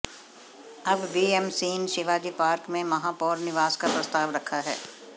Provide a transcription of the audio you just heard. अब बीएमसीन शिवाजी पार्क में महापौर निवास का प्रस्ताव रखा है